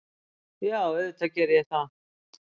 Já, auðvitað geri ég það.